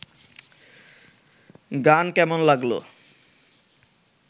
গান কেমন লাগল